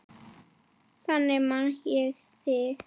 Þannig man ég þig.